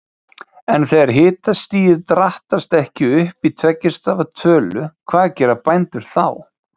En þegar hitastigið drattast ekki upp í tveggja stafa tölu, hvað gera bændur þá?